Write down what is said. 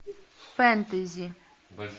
фэнтези